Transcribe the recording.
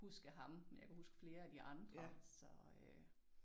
Huske ham men jeg kunne huske flere af de andre så øh